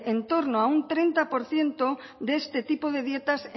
en torno a un treinta por ciento de este tipo de dietas